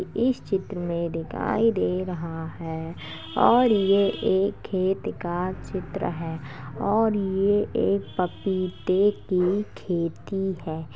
इस चित्र में दिखाई दे रहा है और ये एक खेत का चित्र है और ये एक पपीते की खेती है |